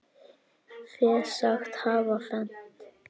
Fé sagt hafa fennt.